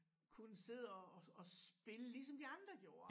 Kunne sidde og og og spille ligesom de andre gjorde